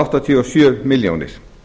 áttatíu og sjö milljónir